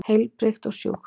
Heilbrigt og sjúkt.